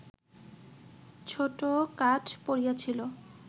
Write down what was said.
ছোট কাঠ পড়িয়াছিল